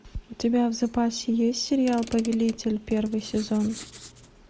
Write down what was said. у тебя в запасе есть сериал повелитель первый сезон